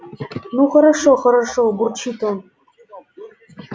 ну хорошо хорошо бурчит он